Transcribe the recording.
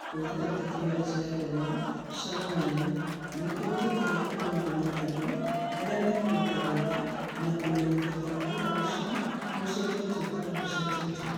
Kũhũthĩra tekinoronjĩ ya ndemwa cia mũhiano nĩ kũhũthĩkaga kũmenyithania andũ arĩa mekũruta wĩra, na kũmenyithia kana wĩra ũcio nĩ ũcenjetio kana ndũcenjetio.